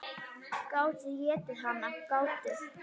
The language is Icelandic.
Gátu étið hana, gátu.